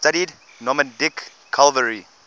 studied nomadic cavalry